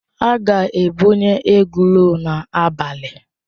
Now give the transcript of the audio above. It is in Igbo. A ga-ebunye egról n'abalị a.